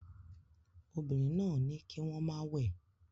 Obìnrin náà ní kí wọ́n má wẹ̀